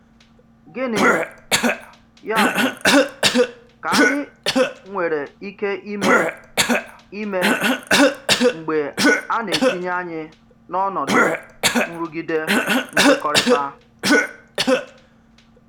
Gịnị, yá bụ, kà ányị̀ nwèrè ike imé imé mgbè á na-etinye ányị n’ọnọdụ nrụgide nkwekọrịta?